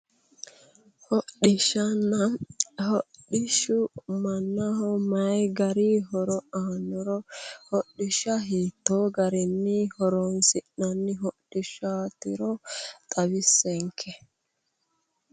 hodhishanna hodhishshu mannaho mayi gari horo aannoro hodhishsha hiittoo garinni horonsi'nanni hodhishshaatiro xawissenke.